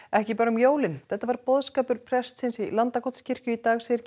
ekki bara um jólin þetta var boðskapur prestsins í Landakotskirkju í dag segir